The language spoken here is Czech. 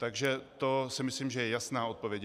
Takže to si myslím, že je jasná odpověď.